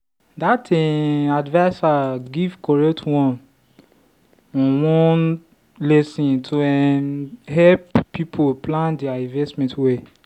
the um adviser give correct one-on-one lesson to um help people plan their investment well.